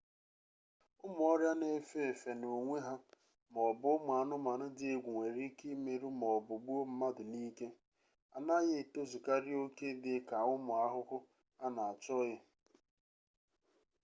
ụmụ ọrịa na-efe efe n'onwe ha ma ọ bụ ụmụ anụmanụ dị egwu nwere ike imerụ ma ọ bụ gbuo mmadụ n'ike a na-ghị etozukarị oke dị ka ụmụ ahụhụ a na-achọghị